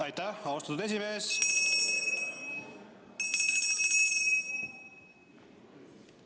Aitäh, austatud esimees!